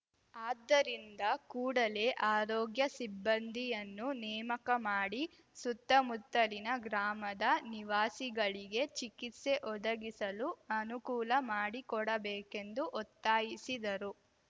ಆದ್ದರಿಂದ ಕೂಡಲೇ ಆರೋಗ್ಯ ಸಿಬ್ಬಂದಿಯನ್ನು ನೇಮಕ ಮಾಡಿ ಸುತ್ತಮುತ್ತಲಿನ ಗ್ರಾಮದ ನಿವಾಸಿಗಳಿಗೆ ಚಿಕತ್ಸೆ ಒದಗಿಸಲು ಅನುಕೂಲ ಮಾಡಿಕೊಡಬೇಕೆಂದು ಒತ್ತಾಯಿಸಿದರು